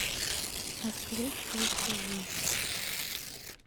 открыть платежи